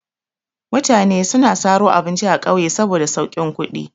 Mutane suna saro abinci a ƙauye saboda saukin kuɗi.